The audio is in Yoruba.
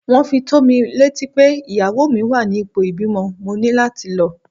Wón fi tó mi létí pé ìyàwó mi wá ní ipò ìbímọ, mo ní láti lọ.